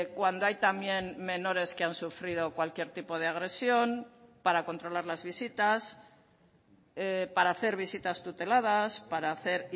cuando hay también menores que han sufrido cualquier tipo de agresión para controlar las visitas para hacer visitas tuteladas para hacer